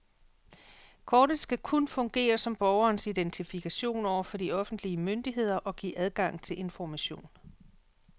Kortet skal kun fungere som borgerens identifikation over for de offentlige myndigheder og give adgang til information.